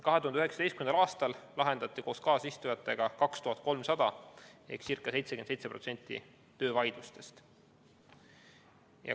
2019. aastal lahendati koos kaasistujatega 2300 vaidlust ehk ca 77% töövaidlustest.